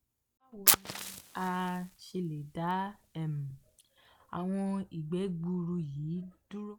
bawo ni a ṣe le da um awọn igbẹ gbuuru yi duro